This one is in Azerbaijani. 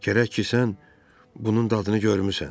Gərək ki, sən bunun dadını görmüsən.